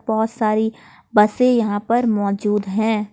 बहुत सारी बसे यहां पर मौजूद है।